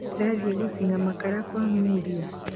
Ndĩrathie gũcina makara kwa Mulia.